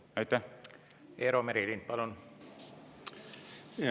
Eero Merilind, palun!